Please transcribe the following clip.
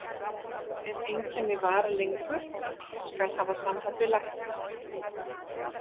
Ef einkenni vara lengur, skal hafa samband við lækni.